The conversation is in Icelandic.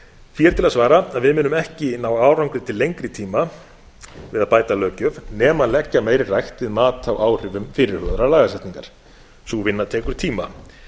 því er til að svara að við munum ekki ná árangri til lengri tíma við að bæta löggjöf nema leggja meiri rækt við mat á áhrifum fyrirhugaðrar lagasetningar sú vinna tekur tíma